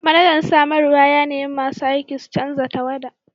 Manajan samarwa ya nemi masu aiki su canza tawada!